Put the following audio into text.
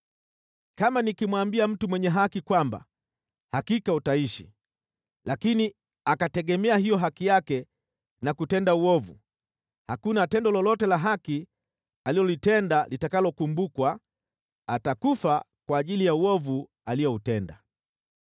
Kama nikimwambia mtu mwenye haki kwamba hakika utaishi, lakini akategemea hiyo haki yake na kutenda uovu, hakuna tendo lolote la haki alilotenda litakalokumbukwa, atakufa kwa ajili ya uovu alioutenda.